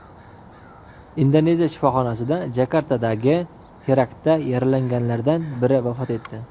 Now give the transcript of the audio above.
Indoneziya shifoxonasida Jakartadagi teraktda yaralanganlardan biri vafot etdi.